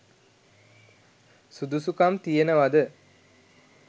සුදුසුකම් තියනවද?